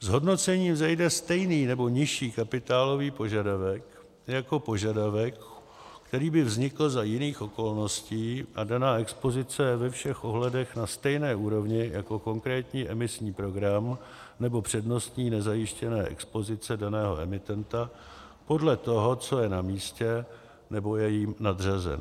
z hodnocení vzejde stejný nebo nižší kapitálový požadavek jako požadavek, který by vznikl za jiných okolností, a daná expozice je ve všech ohledech na stejné úrovni jako konkrétní emisní program nebo přednostní nezajištěné expozice daného emitenta, podle toho, co je na místě, nebo je jim nadřazen.